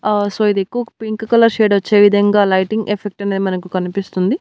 ఆ సో ఇది pink colour shade వచ్చే విధంగా లైటింగ్ ఎఫెక్ట్ అనేది మనకు కనిపిస్తుంది.